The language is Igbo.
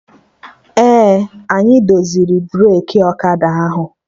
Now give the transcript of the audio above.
Ee, anyị doziri breki ọkada ahụ